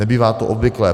Nebývá to obvyklé.